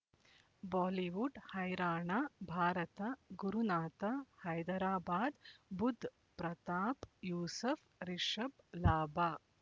Bollywood ಹೈರಾಣ ಭಾರತ ಗುರುನಾಥ ಹೈದರಾಬಾದ್ ಬುಧ್ ಪ್ರತಾಪ್ ಯೂಸುಫ್ ರಿಷಬ್ ಲಾಭ